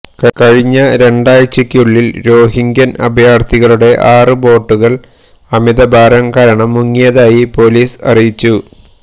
കഴിഞ്ഞ രണ്ടാഴ്ചയ്ക്കുളളില് റോഹിങ്ക്യന് അഭയാര്ഥികളുടെ ആറ് ബോട്ടുകള് അമിത ഭാരം കാരണം മുങ്ങിയതായി പോലീസ് അറിയിച്ചു